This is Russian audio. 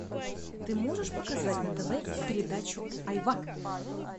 ты можешь показать на тв передачу айва